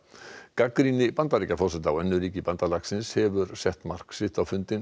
gagnrýni Bandaríkjaforseta á önnur ríki bandalagsins hefur sett mark sitt á fundinn